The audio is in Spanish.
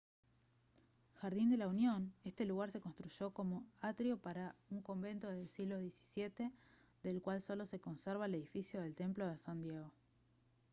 jardín de la unión este lugar se construyó como atrio para un convento del siglo xvii del cual solo se conserva el edificio del templo de san diego